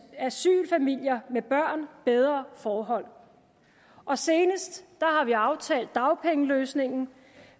asylfamilier med børn bedre forhold og senest har vi aftalt dagpengeløsningen